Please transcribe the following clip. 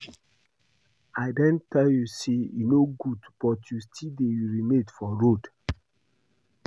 I don tell you say e no good but you still dey urinate for road